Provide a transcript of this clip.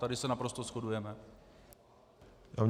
Tady se naprosto shodujeme.